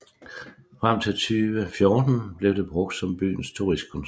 Frem til 2014 blev det brugt som byens turistkontor